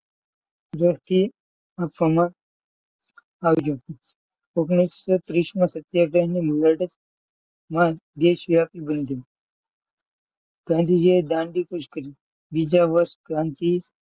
ઓગણીસો ત્રીસમાં સત્યાગ્રહની લડત દેશી વ્યાપી બની ગઈ. ગાંધીજીએ દાંડીકૂચ કરી. બીજા વર્ષ ક્રાંતિ,